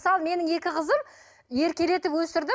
мысалы менің екі қызым еркелетіп өсірдім